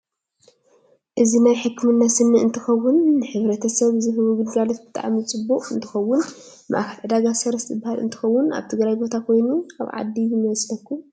እዚ ናይ ሕክምና ስኒ እንትከውን ንሕተሰብ ዝህቡ ግልጋሎት ብጣዓሚ ፅቡቅ እንትከውን ማእከል ዕዳጋ ሰረት ዝበሃል እንትከውን ኣብ ትግራይ ቦታ ኮይኑ ኣብ ዓዲ ይመስሎኩም?